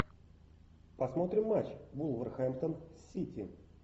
посмотрим матч вулверхэмптон сити